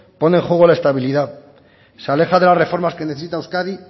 pone en juego la estabilidad se aleja de las reformas que necesita euskadi